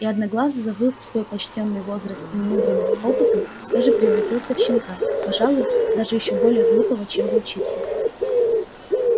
и одноглазый забыв свой почтённый возраст и умудрённость опытом тоже превратился в щенка пожалуй даже ещё более глупого чем волчица